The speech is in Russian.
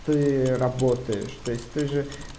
ты работаешь то есть ты же